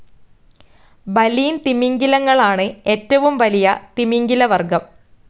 Baleen തിമിംഗിലങ്ങളാണ് ഏറ്റവും വലിയ തിമിംഗിലവർഗ്ഗം.